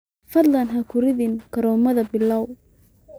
fadlan ha ku ridin karoomada pilau